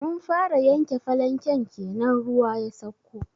Mun fara yanke falanken kenan ruwa ya sauko.